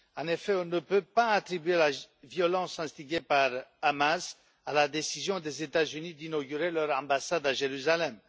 En effet, on ne peut pas attribuer la violence instiguée par le Hamas à la décision des États Unis d'inaugurer leur ambassade à Jérusalem.